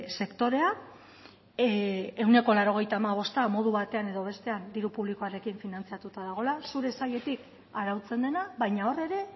sektorea ehuneko laurogeita hamabosta modu batean edo bestean diru publikoarekin finantzatuta dagoela zure sailetik arautzen dena baina hor ere